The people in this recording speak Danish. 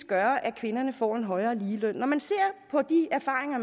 gøre at kvinderne får en højere løn når man ser på de erfaringer